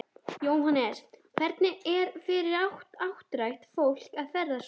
Jóhannes: Hvernig er fyrir áttrætt fólk að ferðast svona?